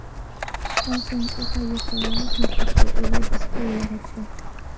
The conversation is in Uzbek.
Samsung o‘ta yuqori tiniqlikka ega displey yaratdi.